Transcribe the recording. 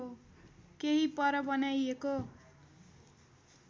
केही पर बनाइएको